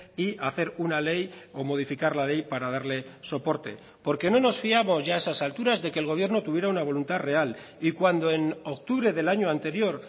y hacer una ley o modificar la ley para darle soporte porque no nos fiamos ya a esas alturas de que el gobierno tuviera una voluntad real y cuando en octubre del año anterior